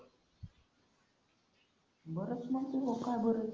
बरं असणार का नाही बरं?